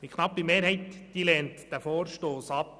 Diese knappe Mehrheit lehnt den Vorstoss ab.